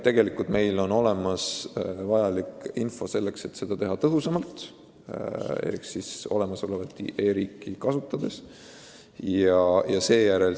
Meil on olemas vajalik info selleks, et teha seda tõhusamalt elik olemasolevat e-riiki kasutades.